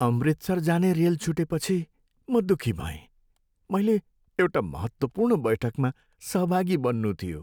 अमृतसर जाने रेल छुटेपछि म दुखी भएँ, मैले एउटा महत्त्वपूर्ण बैठकमा सहभागी बन्नु थियो।